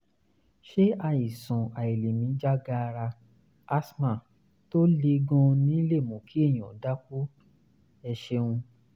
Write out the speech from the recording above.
ṣé àìsàn àìlèmí já gaara (asthma) tó le gan-an lè mú kí èèyàn dákú? ẹ ṣeun